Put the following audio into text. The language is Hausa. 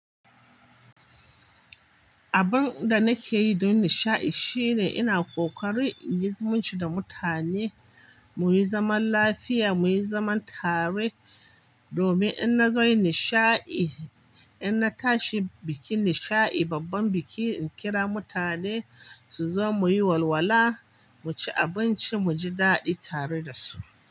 Abin da nake yi don nishaɗi shine ina ƙoƙari in yi zumunci da mutane muyi zaman lafiya, muyi zaman tare. Domin in na zo yin nishaɗi, in na tashi bikin nishaɗi, babban biki, in kira mutane su zo muyi walwala, mu ci abinci, mu ji daɗi tare da su.